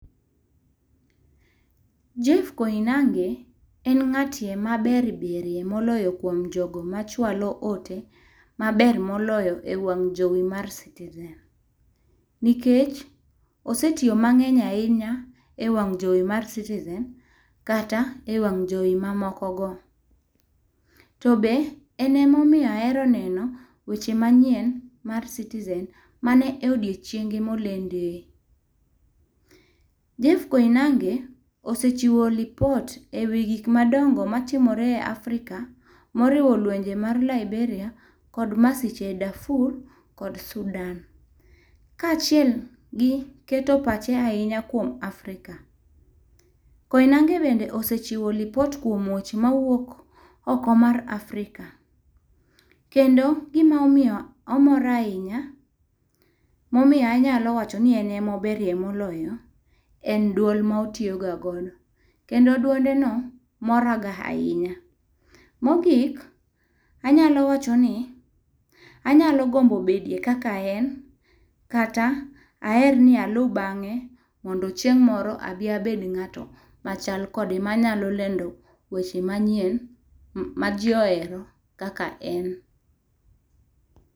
Jeff Koinange en ng'at ma ber berie moloyo kuom jogo ma chwalo ote ma ber moloyo e wang' jowi mar citizen nikech osetiyo mang'eny ahinya e wang jowi mar citizen kata e wang' jowi ma moko go to bende en ema omiyo an ahero neno weche manyien mar citizen mana e odiechieng' ma olendo e.Jeff Koinange osechiwo lipot e wii gik madongo ma timore e Afrika ma oriwo lwenje mar Liberia kod ma siche Dafur kod Sudan. Kachiel gi keto pache ahinya kuom Afrika. Koinange be osechiwo lipot kuom weche ma wuok oko mar afrika. kendo gi ma omiyo omora ahinya ma nya miyo anyalo wacho ni en ema oberie moloyo en duol ma otiyo ga go kendo duonde no mora ga ahinya. Mo ogik anyalo wacho ni anyalo gombo bedie kaka en kata aher ni alu bang'e mondo chieng' moro adhi abed ng'ato ma chal kode ma nyalo lando weche manyien ma ji ohero kaka en.